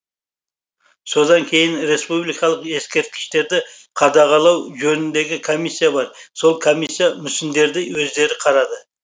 содан кейін республикалық ескерткіштерді қадағалау жөніндегі комиссия бар сол комиссия мүсіндерді өздері қарады